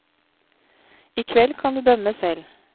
I kveld kan du dømme selv.